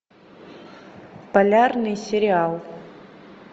полярный сериал